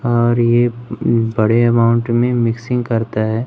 और ये उं बड़े अमाउंट में मिक्सिंग करता है।